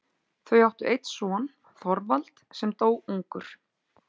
Þau áttu einn son, Þorvald, sem dó ungur.